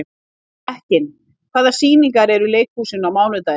Mekkin, hvaða sýningar eru í leikhúsinu á mánudaginn?